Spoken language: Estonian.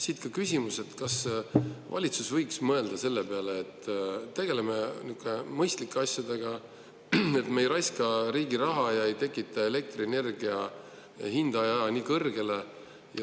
Siit ka küsimus: kas valitsus võiks mõelda selle peale, et tegeleks mõistlike asjadega, ei raiskaks riigi raha ega ajaks elektrienergia hinda nii kõrgeks?